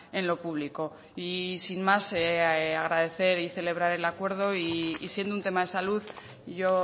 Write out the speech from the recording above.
en lo público y sin más agradecer y celebrar el acuerdo y siendo un tema de salud yo